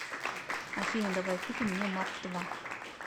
афина давай купим мне марк два